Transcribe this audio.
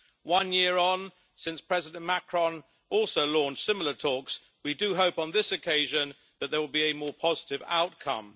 One year on since President Macron also launched similar talks, we do hope on this occasion that there will be a more positive outcome.